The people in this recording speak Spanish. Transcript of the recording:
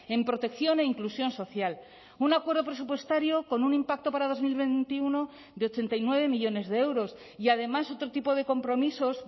en protección e inclusión social un acuerdo presupuestario con un impacto para dos mil veintiuno de ochenta y nueve millónes de euros y además otro tipo de compromisos